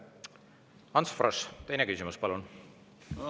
Ants Frosch, teine küsimus, palun!